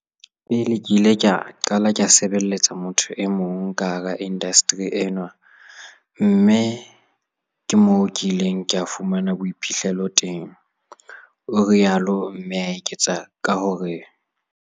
"Pele ke ile ka qala ke sebeletsa motho e mong ka hara indasteri enwa mme ke moo ke ileng ka fumana boiphihlelo teng," o ile a rialo, mme a eketsa ka hore o